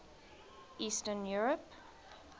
eastern europe